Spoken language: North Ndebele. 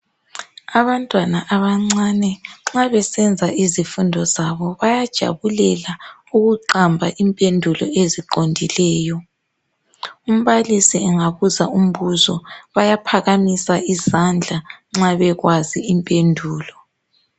Abantwana abancane nxa besenza izifundo zabo bayajabulela ukuqamba impendulo eziqondileyo. Umbalisi engabuza umbuzo bayaphakamisa izandla nxa bekwazi impendulo.